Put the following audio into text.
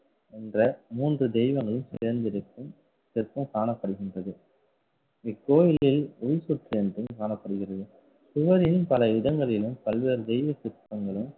என்ற மூன்று தெய்வங்களும் சேர்ந்து இருக்கும் சிற்பம் காணப்படுகின்றது. இக்கோவிலில் என்றும் காணப்படுகிறது. சுவரிலும் பல இடங்களிலும் பல்வேறு தெய்வ சிற்பங்களும்